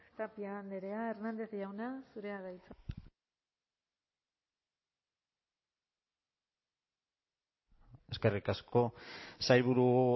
tapia andrea hernández jauna zurea da hitza eskerrik asko sailburu